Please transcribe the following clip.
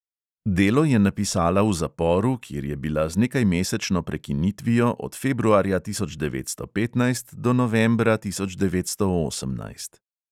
Delo je napisala v zaporu, kjer je bila z nekajmesečno prekinitvijo od februarja tisoč devetsto petnajst do novembra tisoč devetsto osemnajst.